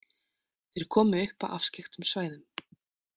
Þeir komu upp á afskekktum svæðum.